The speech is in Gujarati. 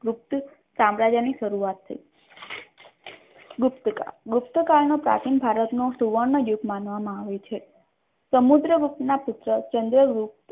પુખ્ત સામ્રાજ્યની શરૂઆત થ ગુપ્તકાળ ગુપ્તકાળ નો પ્રાચીન કાળનો સુવર્ણ યુગ માનવામાં આવે છે સમુદ્રગુપ્ત ના પુત્ર ચંદ્રગુપ્ત